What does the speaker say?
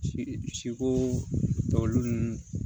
Si siko tɔ olu ninnu